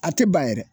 A tɛ ban yɛrɛ